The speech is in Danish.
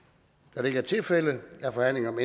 da det ikke er tilfældet er forhandlingen om